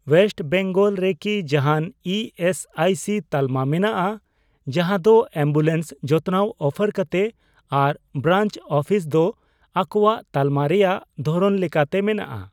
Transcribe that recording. West Bengal ᱨᱮᱠᱤ ᱡᱟᱦᱟᱱ E S I C ᱛᱟᱞᱢᱟ ᱢᱮᱱᱟᱜᱼᱟ ᱡᱟᱦᱟᱸ ᱫᱚ ᱮᱢᱵᱩᱞᱮᱱᱥ ᱡᱚᱛᱱᱟᱣ ᱚᱯᱷᱟᱨ ᱠᱟᱛᱮ ᱟᱨ ᱵᱨᱟᱧᱪ ᱚᱯᱷᱤᱥ ᱫᱚ ᱟᱠᱚᱣᱟᱜ ᱛᱟᱞᱢᱟ ᱨᱮᱭᱟᱜ ᱫᱷᱚᱨᱚᱱ ᱞᱮᱠᱟᱛᱮ ᱢᱮᱱᱟᱜᱼᱟ ?